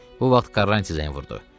Bu vaxt Koranti zəng vurdu.